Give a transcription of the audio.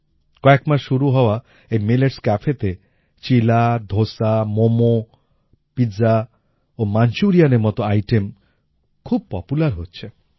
কয়েক মাস শুরু হওয়া এই মিলেটস Cafeতে চিলা ধোসা মোমো পিজা ও মাঞ্চুরিয়ানের মত আইটেম খুব পপুলার হচ্ছে